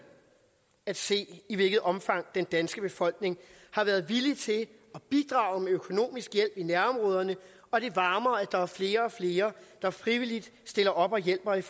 at se i hvilket omfang den danske befolkning har været villig til at bidrage med økonomisk hjælp i nærområderne og det varmer at der er flere og flere der frivilligt stiller op og hjælper i